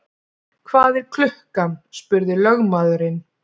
Hvað er klukkan? spurði lögmaðurinn.